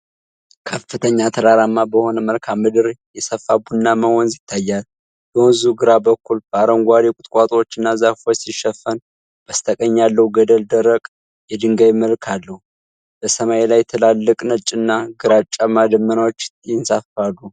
ከፍተኛ ተራራማ በሆነ መልክዓ ምድር የሰፋ ቡናማ ወንዝ ይታያል። የወንዙ ግራ በኩል በአረንጓዴ ቁጥቋጦዎችና ዛፎች ሲሸፈን፣ በስተቀኝ ያለው ገደል ደረቅ የድንጋይ መልክ አለው። በሰማይ ላይ ትላልቅ ነጭና ግራጫማ ደመናዎች ይንሳፈፋሉ።